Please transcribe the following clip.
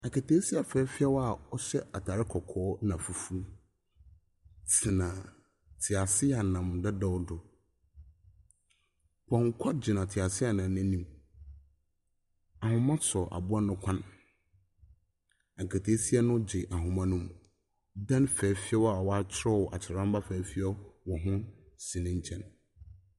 Aketesia fɛɛfɛw a ɔhyɛ ataare kɔkɔɔ ɛna fufu tena teaseɛnam dedaw do. Pɔnkɔ gyina teaseɛnam no anim. Ahoma so aboa no kɔn. Aketesia no gye ahoma nom. Dan fɛfɛw a watwerɛw atwerɛwmma fɛfɛw wɔho si ne nkyɛn.